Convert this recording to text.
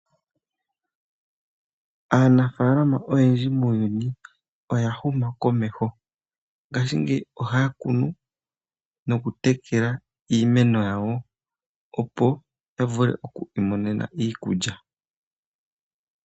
Aanafaalama oyendji muuyuni oya huma komeho, ngashingeyi ohaya kunu noku tekela iimeno yawo opo ya vule oku imonena iikulya.